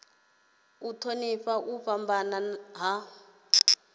u thonifha u fhambana ha